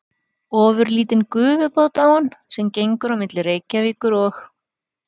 Ofurlítinn gufubát á hann, sem gengur á milli Reykjavíkur og